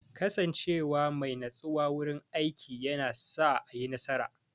Kasance wa mai natsuwa wurin aiki yana sa a yi nasara.